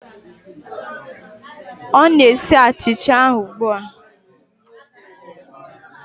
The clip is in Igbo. Ọ na-esi achicha ahụ ugbu a